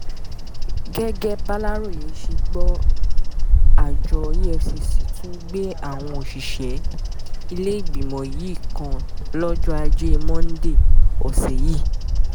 gẹ́gẹ́ bàlàròyé ṣe gbọ́ àjọ efcc tún gbé àwọn òṣìṣẹ́ ìlẹ́gbẹ́mọ yìí kan lọ́jọ́ ajé monde ọ̀sẹ̀ yìí